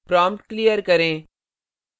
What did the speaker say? prompt clear करें